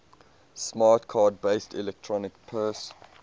smart card based electronic purse